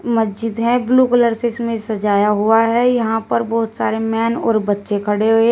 मस्जिद है blue colour से इसमें सजाया हुआ है यहां पर बहुत सारे मैन और बच्चे खड़े हुए हैं।